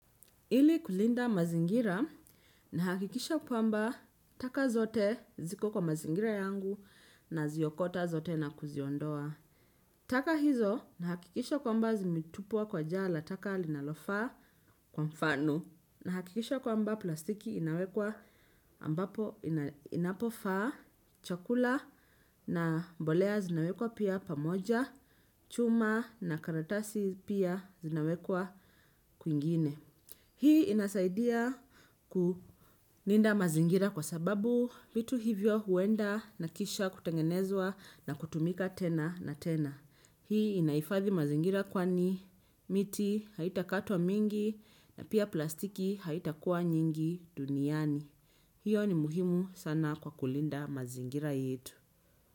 Ili kulinda mazingira nahakikisha kwamba taka zote ziko kwa mazingira yangu naziokota zote na kuziondoa. Taka hizo nahakikisha kwamba zimitupwa kwa jaa la taka linalofa kwa mfanu. Nahakikisha kwamba plastiki inawekwa ambapo inapofa chakula na mbolea zinawekwa pia pamoja, chuma na karatasi pia zinawekwa kwingine. Hii inasaidia kulinda mazingira kwa sababu vitu hivyo huenda na kisha kutengenezwa na kutumika tena na tena. Hii inaifathi mazingira kwani miti haitakatwa mingi na pia plastiki haitakuwa nyingi duniani. Hiyo ni muhimu sana kwa kulinda mazingira yetu.